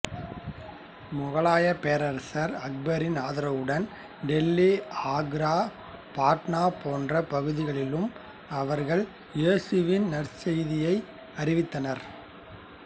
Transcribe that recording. மொகாலயப் பேரரசர் அக்பரின் ஆதரவுடன் டெல்லி ஆக்ரா பாட்னா போன்ற பகுதிகளிலும் அவர்கள் இயேசுவின் நற்செய்தியை அறிவித்தனர்